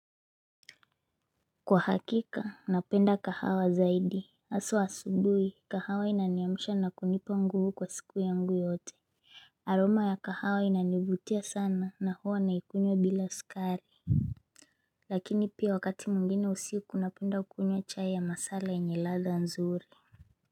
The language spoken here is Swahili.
Kwa hakika napenda kahawa zaidi haswa asubuhi kahawa inaniamsha na kunipa nguvu kwa siku yangu yote. Aroma ya kahawa inaniuvutia sana na huwa naikunywa bila sukari. Lakini pia wakati mwingine usiku napenda kunywachai ya masala yenye ladha nzuri.